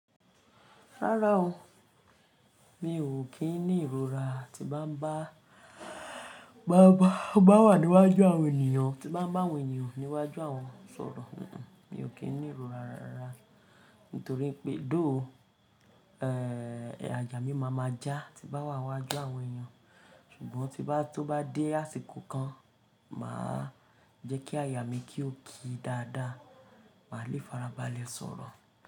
Rárá o, mi ò kí ń ní ìrora tí n bá ń bá, bá wà níwájú àwọn ènìyàn, tí n bá ń bá àwọn ènìyàn níwájú àwọn sọ̀rọ̀. Mi ò kí ń ní ìrora rárá. Nítorí pé though ó, ẹ́ẹ̀, àyà mí máa ma já tí n bá wà níwájú àwọn ènìyàn. Ṣùgbọ́n tí bá tó bá dé àsìkò kan, màá jẹ́ kí àyà mi kí ó ki dáadáa, màá lé farabalẹ̀ sọ̀rọ̀.